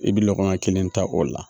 I bɛ lɔgɔya kelen ta o la